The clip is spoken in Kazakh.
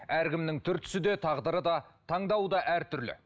әркімнің түр түсі де тағдыры да таңдауы да әртүрлі